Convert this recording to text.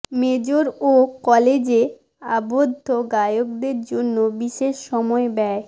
major ও কলেজে আবদ্ধ গায়কদের জন্য বিশেষ সময় ব্যয়